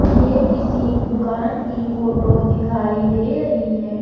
ये किसी दुकान की फोटो दिखाईं दे रही है।